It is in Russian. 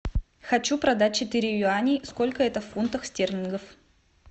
хочу продать четыре юаней сколько это в фунтах стерлингов